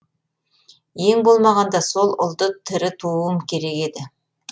ең болмағанда сол ұлды тірі тууым керек еді